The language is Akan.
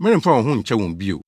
meremfa wɔn ho nkyɛ wɔn bio.